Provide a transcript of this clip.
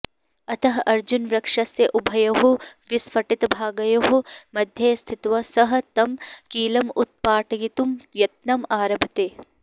अतः अर्जुनवृक्षस्य उभयोः विस्फाटितभागयोः मध्ये स्थित्वा सः तं कीलम् उत्पाटयितुं यत्नम् आरभते